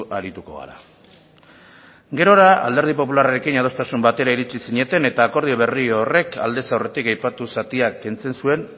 arituko gara gerora alderdi popularrarekin adostasun batera iritsi zineten eta akordio berri horrek aldez aurretik aipatu zatia kentzen zuen